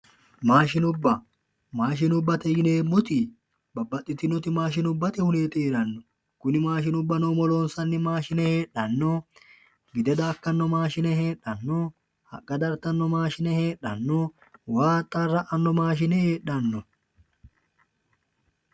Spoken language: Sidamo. maashinubba maashinubbate yineemmoti babbaxitinoti maashinubbate dani heeranno kuni maashinubbate yineemmoti umo loonsanni maashine heedhanno gide daakkanno maashine heedhanno haqqa dartanno maashine heedhanno waa axxaara'ano maashine heedhanno.